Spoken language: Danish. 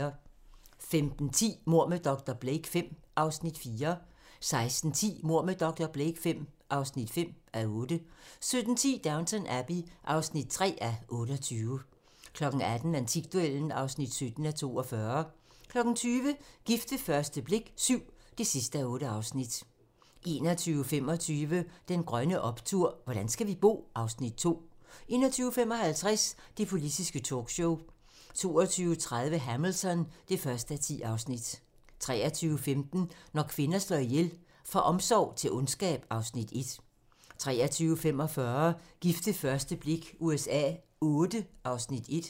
15:10: Mord med dr. Blake V (4:8) 16:10: Mord med dr. Blake V (5:8) 17:10: Downton Abbey (3:28) 18:00: Antikduellen (17:42) 20:00: Gift ved første blik VII (8:8) 21:25: Den grønne optur: Hvordan skal vi bo? (Afs. 2) 21:55: Det politiske talkshow 22:30: Hamilton (1:10) 23:15: Når kvinder slår ihjel - Fra omsorg til ondskab (Afs. 1) 23:45: Gift ved første blik USA Vlll (Afs. 1)